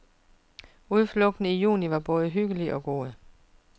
Udflugten i juni var både hyggelig og god.